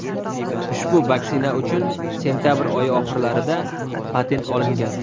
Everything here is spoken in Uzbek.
Ushbu vaksina uchun sentabr oyi oxirlarida patent olingan .